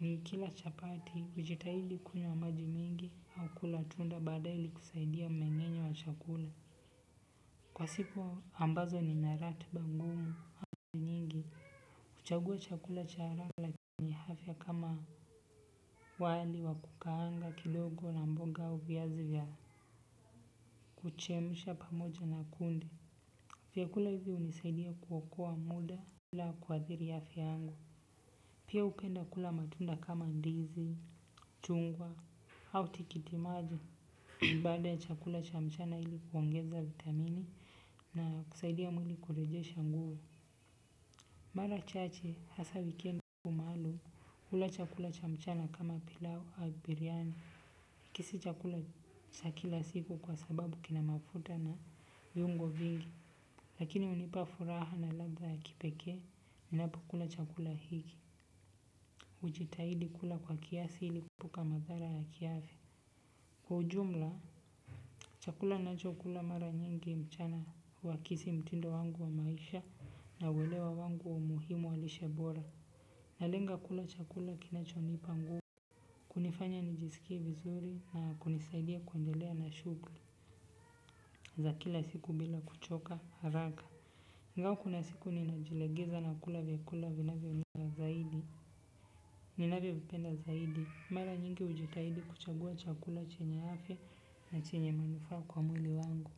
Nikila chapati, hujitahidi kunywa maji mingi au kula tunda baadaye ili kusaidia mmengenya wa chakula. Kwa siku ambazo nina ratiba ngumu mara nyingi. Huchagua chakula cha haraka la kifafya kama wali wa kukaanga kidogo na mboga aj viazi vya kuchemsha pamoja na kunde. Vyakula hivi hunisaidia kuokoa muda la kuadhiri yafya yangu. Pia hupenda kula matunda kama ndizi, chungwa, au tikitimaji. Baada ya chakula cha mchana ili kuongeza vitamini na kusaidia mwili kurejesha nguvu. Mara chache hasa wikendi maalum hula chakula cha mchana kama pilau wa biriani hiki si chakula cha kila siku kwa sababu kina mafuta na viungo vingi. Lakini hunipa furaha na ladha ya kipekee. Ninapokula chakula hiki hujitahidi kula kwa kiasi ili kuepuka madhara ya kiafya. Kwa ujumla chakula ninacho kula mara nyingi mchana wakisi mtindo wangu wa maisha na uwelewa wangu wa muhimu walishe bora. Na lenga kula chakula kinachonipa nguvu. Kunifanya nijisikia vizuri na kunisaidia kuendelea na shughuli za kila siku bila kuchoka haraka ingawa kuna siku ninajilegeza na kula vyakula vinavyo nina zaidi. Ninavyo vipenda zaidi mara nyingi hujitahidi kuchagua chakula chenya afya na chenye manufaa kwa mwili wangu.